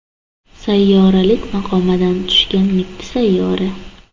Sayyoralik maqomidan tushgan mitti sayyora.